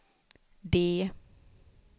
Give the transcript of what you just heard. D